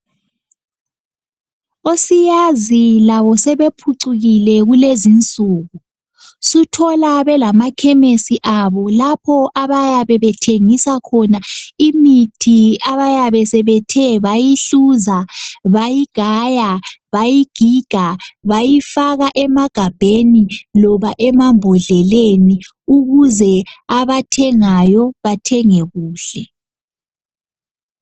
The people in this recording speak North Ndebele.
Osiyazi labo sebephucukile kulezinsuku. Suthola belamakhemisi abo lapho abayabe bethengisa khona imithi abayabe bethe bayihluza, bayigaya, bayigiga bayifaka emagabheni loba emambodleleni ukuze abathengayo bathenge kuhle.